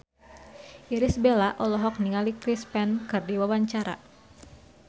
Irish Bella olohok ningali Chris Pane keur diwawancara